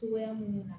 Cogoya minnu na